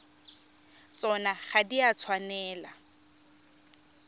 tsona ga di a tshwanela